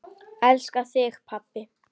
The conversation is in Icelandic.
Elska þig, pabbi.